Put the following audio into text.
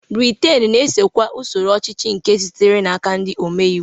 Britain na-esokwa usoro ọchịchị nke sitere n'aka ndị ome iwu.